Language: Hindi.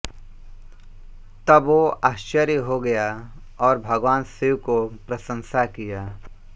तब वो आश्चर्य होगया और भगवान शिव को प्रशंसा कीया